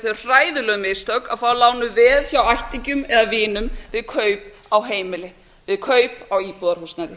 þau hræðilegu mistök að fá lánuð veð hjá ættingjum eða vinum að kaup á heimili við kaup á íbúðarhúsnæði